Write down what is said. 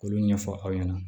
K'olu ɲɛfɔ aw ɲɛna